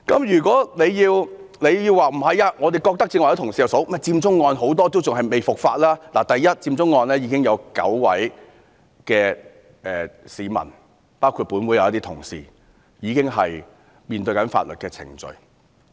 如果你要說你們認為是，剛才也有同事提到佔中案很多人仍未伏法，首先，佔中案件已經有9位市民——包括立法會的同事——正在面對法律程序。